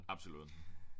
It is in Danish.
Absolut